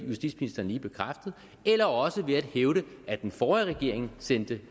justitsministeren lige bekræftet eller også ved at hævde at den forrige regering sendte